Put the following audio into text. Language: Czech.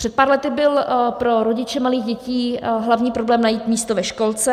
Před pár lety byl pro rodiče malých dětí hlavní problém najít místo ve školce.